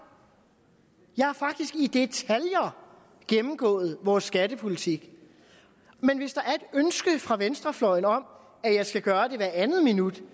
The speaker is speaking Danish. jeg har faktisk i detaljer gennemgået vores skattepolitik men hvis der er ønske fra venstrefløjen om at jeg skal gøre det hvert andet minut